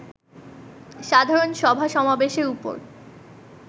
সাধারণ সভা-সমাবেশের উপর